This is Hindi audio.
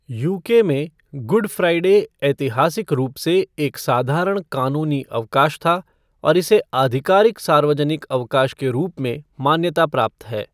यूके में, गुड फ़्राइडे ऐतिहासिक रूप से एक साधारण कानूनी अवकाश था और इसे आधिकारिक सार्वजनिक अवकाश के रूप में मान्यता प्राप्त है।